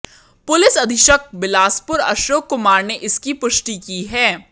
police अधीक्षक बिलासपुर अशोक कुमार ने इसकी पुष्टि की है